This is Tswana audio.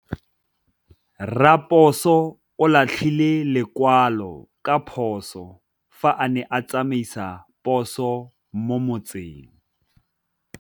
Raposo o latlhie lekwalô ka phosô fa a ne a tsamaisa poso mo motseng.